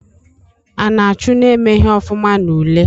A na-achụ na-emeghi ofuma n'ule?